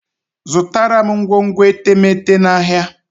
Zụtara m ngwongwo etemeete n'ahia